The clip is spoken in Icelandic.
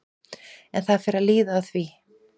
En það fer að líða að því.